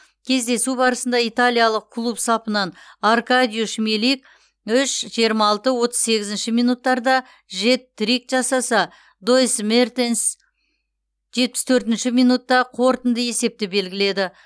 кездесу барысында италиялық клуб сапынан аркадиуш милик үш жиырма алты отыз сегізінші минуттарда жет трик жасаса доис мертенс жетпіс төртінші минутта қорытынды есепті белгіледі